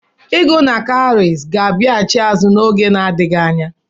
Ịgụ na cowries ga-abịaghachi azụ n'oge na adịghị anya.